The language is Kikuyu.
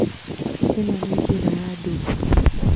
Ĩno nĩ njĩra ya ndũũ